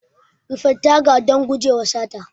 Rufe taga don gujewa sata.